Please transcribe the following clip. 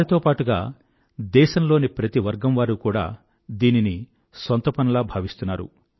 వారితో పాటుగా దేశంలోని ప్రతి వర్గం వారు కూడా దీనిని సొంత పనిలా భావిస్తున్నారు